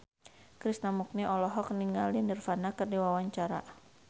Krishna Mukti olohok ningali Nirvana keur diwawancara